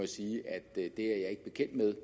sige at det er jeg ikke bekendt med